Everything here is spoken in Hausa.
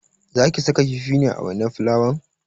Zaki saka kifi ne a wainar fulawan?